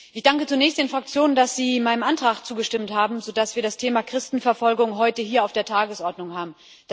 Ich danke zunächst den Fraktionen, dass sie meinem Antrag zugestimmt haben, sodass wir das Thema Christenverfolgung heute hier auf der Tagesordnung haben.